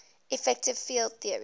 effective field theory